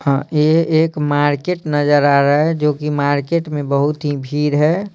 हाँ ये एक मार्केट नजर आ रहा है जो कि मार्केट में बहुत ही भीड़ है।